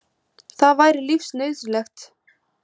Það væri lífsnauðsynlegt.